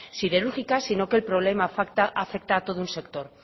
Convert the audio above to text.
siderúrgica sino que el problema afecta a todo un sector